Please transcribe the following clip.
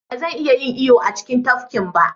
Ba zan iya yin iyo a cikin tafkin ba.